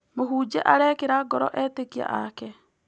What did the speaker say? Mũhunjia arekĩra ngoro etĩkia ake.